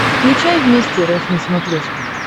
включай вместе рф на смотрешке